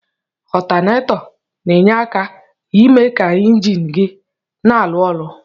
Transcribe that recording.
Ọtọnator na enye aka ime ka enjin gi na alụ ọlụ.